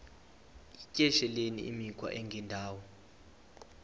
yityesheleni imikhwa engendawo